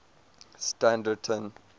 standerton